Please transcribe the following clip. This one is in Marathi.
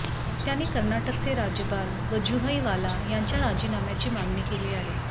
त्यांनी कर्नाटकचे राज्यपाल वजुभाई वाला यांच्या राजीनाम्याची मागणी केली आहे